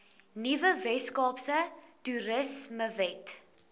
nuwe weskaapse toerismewet